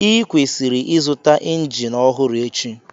Ịkwesịrị ịzụta injin ọhụrụ echi..